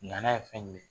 N'a ye fɛn jumɛn ye